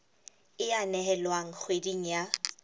e a nehelwa kgweding ya